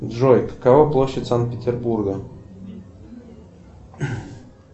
джой какова площадь санкт петербурга